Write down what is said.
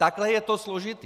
Takhle je to složité.